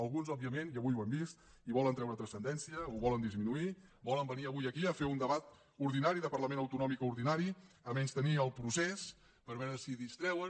alguns òbviament i avui ho hem vist hi volen treure transcendència ho volen disminuir volen venir avui aquí a fer un debat ordinari de parlament autonòmic ordinari a menystenir el procés per veure si distreuen